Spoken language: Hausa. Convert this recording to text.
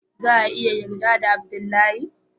za a iya yarda da Abdullahi.